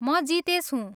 म जितेश हुँ।